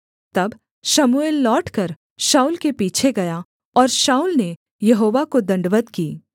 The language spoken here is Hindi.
तब शमूएल लौटकर शाऊल के पीछे गया और शाऊल ने यहोवा को दण्डवत् की